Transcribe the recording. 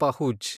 ಪಹುಜ್